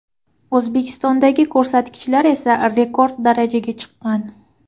O‘zbekistondagi ko‘rsatkichlar esa rekord darajaga chiqqan.